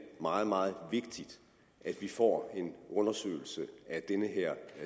meget meget vigtigt at vi får en undersøgelse af den her